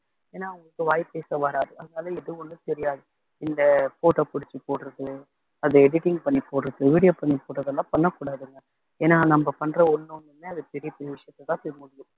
ஏன்னா அவங்களுக்கு வாய் பேச வராது அதனால எதுவும் ஒண்ணும் தெரியாது இந்த photo பிடிச்சு போடுறது அதை editing பண்ணி போடுறது video பண்ணி போடுறது எல்லாம் பண்ணக்கூடாதுங்க ஏன்னா நம்ம பண்ற ஒண்ணொண்ணுமே அது பெரிய பெரிய விஷயத்தைதான் போய் முடியும்